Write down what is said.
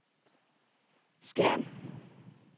Skjern